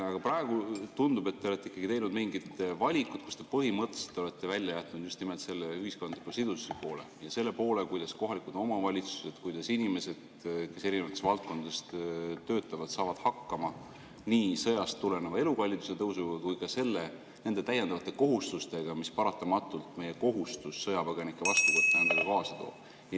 Aga praegu tundub, et te olete ikkagi teinud mingid valikud, te põhimõtteliselt olete välja jätnud just nimelt selle ühiskondliku sidususe poole ja selle poole, kuidas kohalikud omavalitsused, kuidas inimesed, kes erinevates valdkondades töötavad, saavad hakkama nii sõjast tuleneva elukalliduse tõusuga kui ka nende täiendavate kohustustega, mida meie kohustus sõjapõgenikke vastu võtta endaga paratamatult kaasa toob.